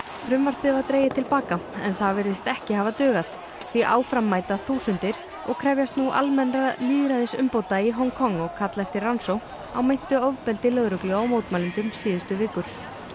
frumvarpið var dregið til baka en það virðist ekki hafa dugað því áfram mæta þúsundir og krefjast nú almennra lýðræðisumbóta í Hong Kong og kalla eftir rannsókn á meintu ofbeldi lögreglu á mótmælendum síðustu vikur